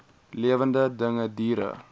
lewende dinge diere